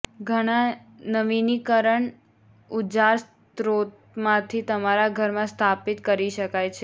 ઘણા નવીનીકરણ ઊજાર્ સ્ત્રોતમાંથી તમારા ઘરમાં સ્થાપિત કરી શકાય છે